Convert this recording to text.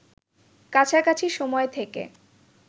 কাছাকাছি সময় থেকে